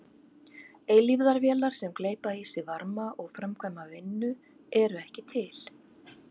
Eilífðarvélar sem gleypa í sig varma og framkvæma vinnu eru ekki til.